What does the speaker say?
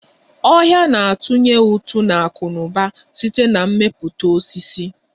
Ọhia na-atunye ụtụ n'akụnauba site na mmepụta osisi